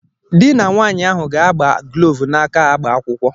Dị na nwaanyị ahụ ga-agba gloovu na-aka agba akwụkwọ.